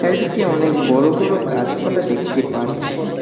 এদিকে অনেক বড় বড় গাছপালা দেখতে পাচ্ছি।